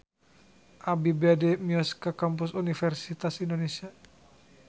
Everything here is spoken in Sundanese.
Abi bade mios ka Kampus Universitas Indonesia